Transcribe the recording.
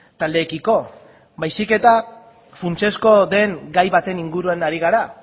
taldeekiko baizik eta funtsezkoa den gai baten inguruan ari gara